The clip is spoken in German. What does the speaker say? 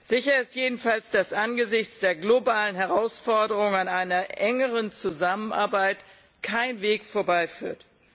Sicher ist jedenfalls, dass angesichts der globalen Herausforderungen an einer engeren Zusammenarbeit kein Weg vorbeiführt.